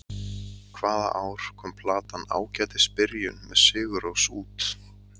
Hvaða ár kom platan Ágætis byrjun, með Sigurrós út?